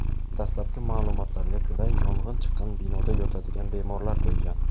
Dastlabki ma’lumotlarga ko‘ra, yong‘in chiqqan binoda yotadigan bemorlar bo‘lgan.